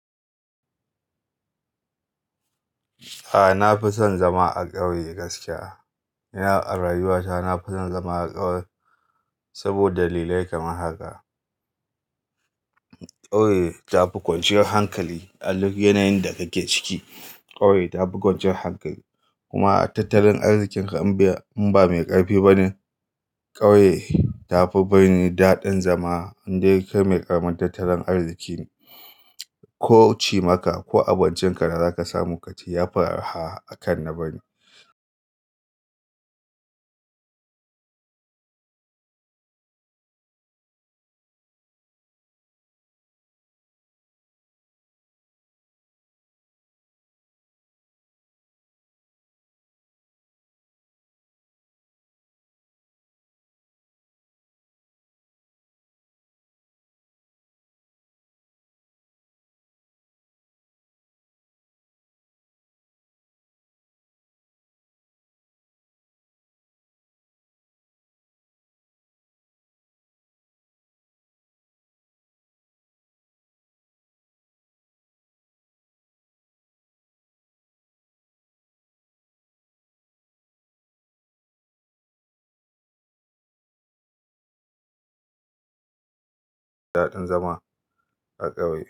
A nafi son zama a ƙauye gaskiya. Ni a raywata na fi son zama a ƙauye saboda dalilai kamar haka. Ƙauye ta fi kwanciyar hankali a duk yanayin da kake ciki. Ƙauye ta fi kwanciyar hankali kuma a tattalin arzikin ka in ba in ba mai ƙarfi bane, ƙauye tafi birni daɗin zama in dai kai mai karamar tattalin arziki ne. Ko cimaka ko abincin ka na zaka samu yafi arha akan na birni. Zama a ƙauye.